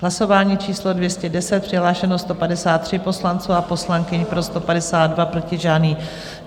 Hlasování číslo 210, přihlášeno 153 poslanců a poslankyň, pro 152, proti žádný.